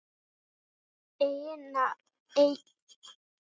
Eiginnöfn og millinafn geta ekki verið fleiri en þrjú samtals.